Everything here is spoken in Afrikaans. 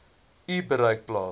u bereik plaas